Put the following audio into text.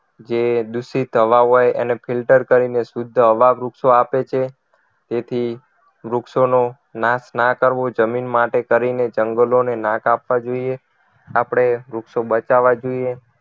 જે દૂષિત હવા હોય એને filter કરીને શુદ્ધ હવા વૃક્ષો આપે છે તેથી વૃક્ષોનો નાશ ના કરવો જમીન માટે કરીને જંગલો ને ના કાપવા જોઈએ આપણે વૃક્ષો બચાવવા જોઈએ